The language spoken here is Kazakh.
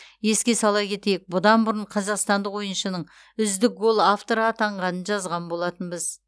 еске сала кетейік бұдан бұрын қазақстандық ойыншының үздік гол авторы атанғанын жазған болатынбыз